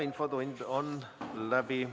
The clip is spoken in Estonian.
Infotund on läbi.